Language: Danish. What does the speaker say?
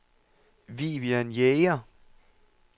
Vivian Jæger